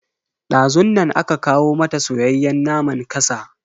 Dazun nan aka kawo mata soyayyen naman kasa.